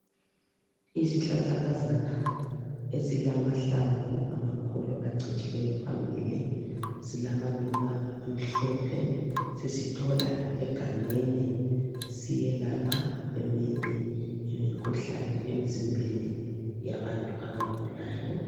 Isihlahlakazana esilamahlamvu amakhulu acijileyo phambili silamaluba amhlophe sisithola egangeni siyelapha eminye imikhuhlane emzimbeni yabantu abagulayo.